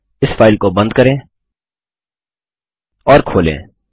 इस फाइल को बंद करें और खोलें